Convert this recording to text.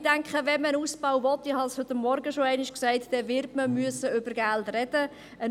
Ich denke – wie ich bereits heute Morgen gesagt habe –, dass wenn man einen Ausbau will, man über Geld wird sprechen müssen.